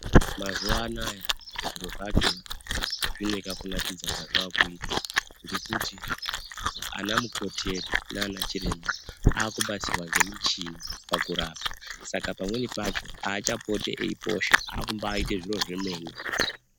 Mazuwa anayo zviro zvacho zvine kakunakidza kazva kuita ngekuti ana mukoti edu nana chiremba akubatsirwa ngemichini pakurapa saka pamweni pacho achapoti eiposha akubaaite zviro zvemene.